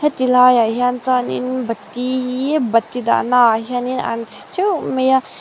ti lai ah hian chuan in bati hi bati dahna ah hian in an chhi teuh mai a.